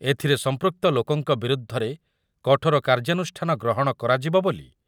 ଏଥିରେ ସମ୍ପୃକ୍ତ ଲୋକଙ୍କ ବିରୁଦ୍ଧରେ କଠୋର କାର୍ଯ୍ୟାନୁଷ୍ଠାନ ଗ୍ରହଣ କରାଯିବ ବୋଲି